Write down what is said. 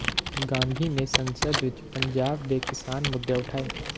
ਗਾਂਧੀ ਨੇ ਸੰਸਦ ਵਿੱਚ ਪੰਜਾਬ ਦੇ ਕਿਸਾਨ ਮੁੱਦੇ ਉਠਾਏ